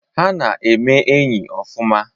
Ha na-eme enyi ọfụma.